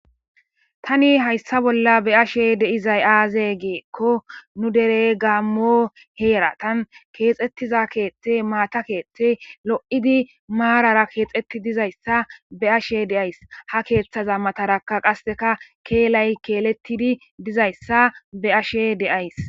tani hayssa bolla be ashe deizay aaze geekko nu dere gaammo heeratan keexettiza keethte maata keethte lo7idi maarara keexetti dizayssa be ashe deays ha keeththaza matarakka qasseka keelay keelettidi dizayssa be ashe deays